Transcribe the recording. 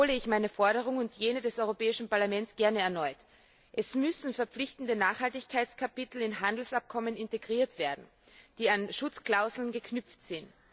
Deshalb wiederhole ich meine Forderung und jene des Europäischen Parlaments gerne erneut Es müssen verpflichtende Nachhaltigkeitskapitel in Handelsabkommen integriert werden, die an Schutzklauseln geknüpft sind.